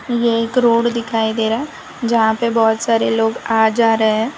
ये एक रोड दिखाई दे रहा है जहां पे बहुत सारे लोग आ जा रहे हैं।